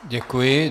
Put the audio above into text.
Děkuji.